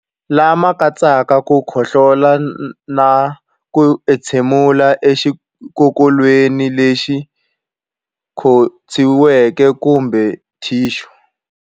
Lama katsaka ku khohlola na ku entshemulela exikokolweni lexi khotsiweke kumbe thixu.